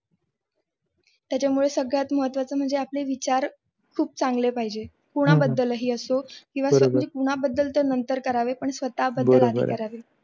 त्याच्यामुळे सगळ्यात महत्त्वाचं म्हणजे आपली विचार खूप चांगले पाहिजे. कुणाबद्दलही असो कुणाबद्दल तर नंतर करावे आणि स्वतः बद्दल आधी करावे.